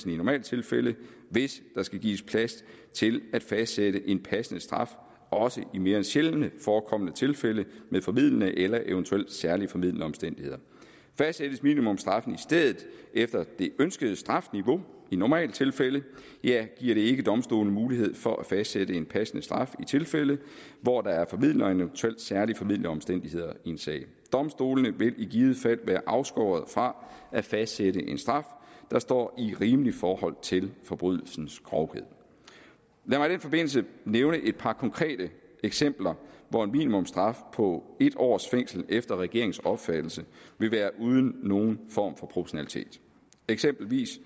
normaltilfælde hvis der skal gives plads til at fastsætte en passende straf også i mere sjældent forekommende tilfælde med formildende eller eventuelt særlig formildende omstændigheder fastsættes minimumsstraffen i stedet efter det ønskede strafniveau i normaltilfælde giver det ikke domstolene mulighed for at fastsætte en passende straf i de tilfælde hvor der er formildende eller eventuelt særlig formildende omstændigheder i en sag domstolene vil i givet fald være afskåret fra at fastsætte en straf der står i rimeligt forhold til forbrydelsens grovhed lad mig i den forbindelse nævne et par konkrete eksempler hvor en minimumsstraf på en års fængsel efter regeringens opfattelse vil være uden nogen form for proportionalitet eksempelvis